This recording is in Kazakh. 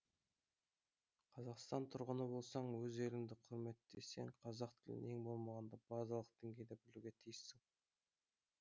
қазақстан тұрғыны болсаң өз елінді кұрметтесең қазақ тілін ең болмағанда базалық деңгейде білуге тиіссің